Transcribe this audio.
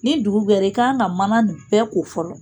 Ni dugu gɛra i kan ka mana nin bɛɛ ko fɔlɔ.